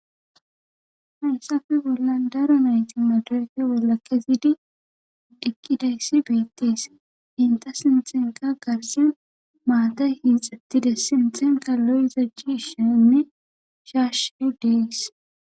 haysafe bolla daro nayti matorke walakezidi dikkidayssi beettis inta sintxenka garsen maata hixattide sintenka lo7izajji shenne shaashe deys